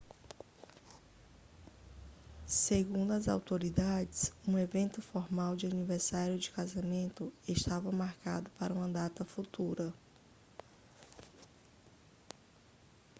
segundo as autoridades um evento formal de aniversário de casamento estava marcado para uma data futura